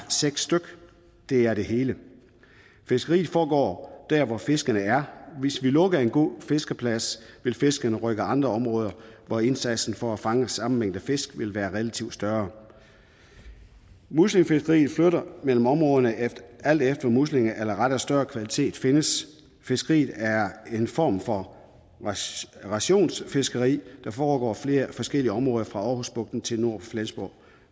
seks styk det er det hele fiskeriet foregår der hvor fiskerne er hvis vi lukker en god fiskeplads vil fiskerne rykke til andre områder hvor indsatsen for at fange samme mængde fisk vil være relativt større muslingefiskeriet flytter mellem områderne alt efter hvor muslinger eller rettere større kvalitet findes fiskeriet er en form for rationsfiskeri der foregår i flere forskellige områder fra aarhusbugten til nord for flensborg